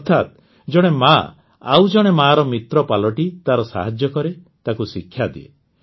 ଅର୍ଥାତ୍ ଜଣେ ମାଆ ଆଉ ଜଣେ ମାଆର ମିତ୍ର ପାଲଟି ତାର ସାହାଯ୍ୟ କରେ ତାକୁ ଶିକ୍ଷା ଦିଏ